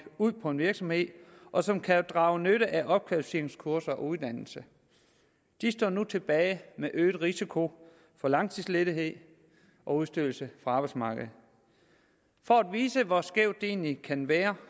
ud på en virksomhed og som kan drage nytte af opkvalificeringskurser og uddannelse de står nu tilbage med øget risiko for langtidsledighed og udstødelse fra arbejdsmarkedet for at vise hvor skævt det egentlig kan være